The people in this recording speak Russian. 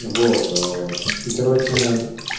вот а и короче